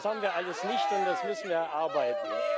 Das haben wir alles nicht, und das müssen wir erarbeiten.